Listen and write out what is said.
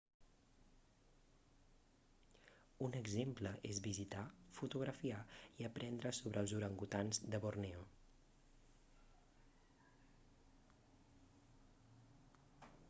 un exemple és visitar fotografiar i aprendre sobre els orangutans de borneo